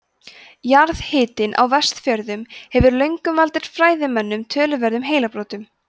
jarðhitinn á vestfjörðum hefur löngum valdið fræðimönnum töluverðum heilabrotum